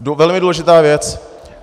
Velmi důležitá věc.